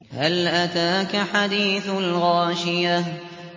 هَلْ أَتَاكَ حَدِيثُ الْغَاشِيَةِ